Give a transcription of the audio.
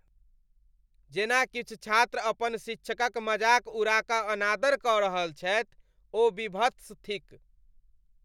जेना किछु छात्र अपन शिक्षकक मजाक उड़ा कऽ अनादर कऽ रहल छथि, ओ वीभत्स थिक।